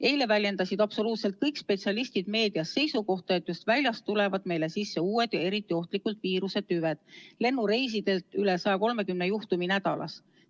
Eile väljendasid absoluutselt kõik spetsialistid meedias seisukohta, et just väljast tulevad meile sisse uued ja eriti ohtlikud viirusetüved, lennureisidelt üle 130 juhtumi nädalas.